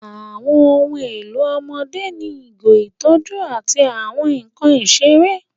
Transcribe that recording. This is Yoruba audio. Àwọn ohun èlò ọmọdé ní ìgò, ìtọ́jú, àti àwọn nkan ìṣeré.